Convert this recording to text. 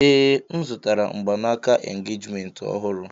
Ee, M zụtara mgbanaka engejiment ọhụrụ.